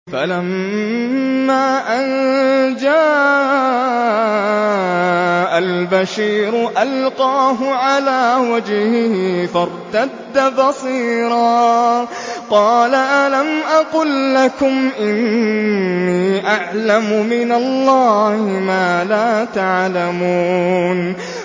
فَلَمَّا أَن جَاءَ الْبَشِيرُ أَلْقَاهُ عَلَىٰ وَجْهِهِ فَارْتَدَّ بَصِيرًا ۖ قَالَ أَلَمْ أَقُل لَّكُمْ إِنِّي أَعْلَمُ مِنَ اللَّهِ مَا لَا تَعْلَمُونَ